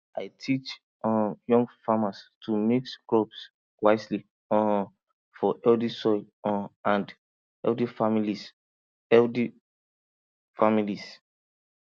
i teach um young farmers to mix crops wisely um for healthy soil um and healthy families healthy families